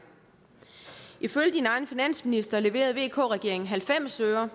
finansminister leverede vk regeringen halvfems øre og